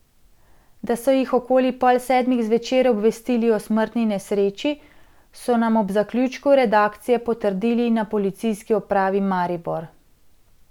Da so jih okoli pol sedmih zvečer obvestili o smrtni nesreči, so nam ob zaključku redakcije potrdili na policijski upravi Maribor.